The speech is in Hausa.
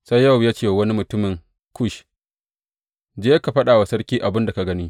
Sai Yowab ya ce wa wani mutumin Kush, Je ka faɗa wa sarki abin da ka gani.